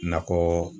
Nakɔ